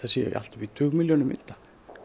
sé allt upp í tugmilljónir mynda